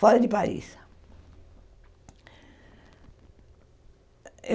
Fora de Paris.